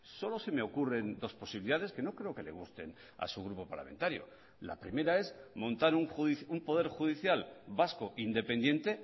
solo se me ocurren dos posibilidades que no creo que le gusten a su grupo parlamentario la primera es montar un poder judicial vasco independiente